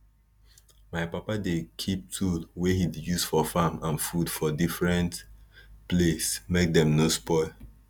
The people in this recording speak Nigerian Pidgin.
my papa dey keep tool wey he use for farm and food for different place make dem no spoil